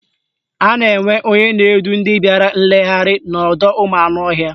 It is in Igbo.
A na-enwe onye na-edu ndị bịara nlegharị n'ọdọụmụanụọhịa.